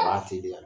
A b'a teliya